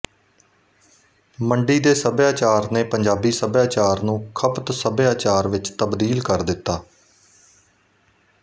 ਮੰਡੀ ਦੇ ਸੱਭਿਆਚਾਰ ਨੇ ਪੰਜਾਬੀ ਸੱਭਿਆਚਾਰ ਨੂੰ ਖਪਤ ਸੱਭਿਆਚਾਰ ਵਿੱਚ ਤਬਦੀਲ ਕਰ ਦਿੱਤਾ